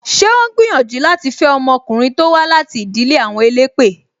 Ṣé o ń gbìyànjú láti fe ọmọkùnrin to wá láti ìdílé àwọn elépè?